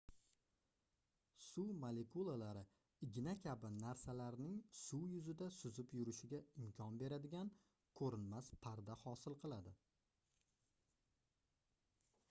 suv molekulalari igna kabi narsalarning suv yuzida suzib yurishiga imkon beradigan koʻrinmas parda hosil qiladi